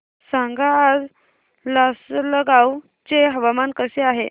सांगा आज लासलगाव चे हवामान कसे आहे